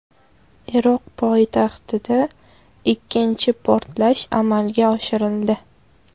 Iroq poytaxtida ikkinchi portlash amalga oshirildi.